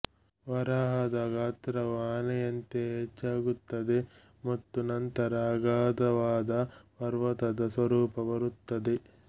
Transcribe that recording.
ವರಾಹದ ಗಾತ್ರವು ಆನೆಯಂತೆಯೇ ಹೆಚ್ಚಾಗುತ್ತದೆ ಮತ್ತು ನಂತರ ಅಗಾಧವಾದ ಪರ್ವತದ ಸ್ವರೂಪ ಬರುತ್ತದೆ